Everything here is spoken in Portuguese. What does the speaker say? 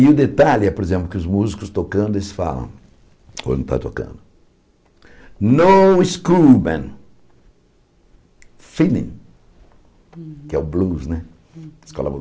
E o detalhe é, por exemplo, que os músicos tocando, eles falam, quando estão tocando, no school band, feeling, que é o blues, né?